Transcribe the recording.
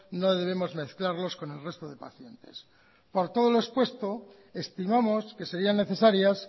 no debemos mezclarlos con el resto de pacientes por todo lo expuesto estimamos que serían necesarias